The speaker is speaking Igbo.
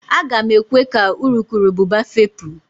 Aga m ekwe ka urukurubụba fepụ